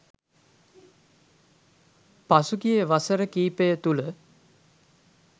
පසුගිය වසර කීපය තුළ